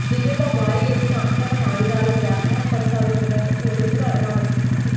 ఢిల్లీలో భారీ ఎత్తున అక్రమ ఆయుధాల వ్యాపారం కొనసాగుతున్నట్టు పోలీసులు అనుమానిస్తున్నారు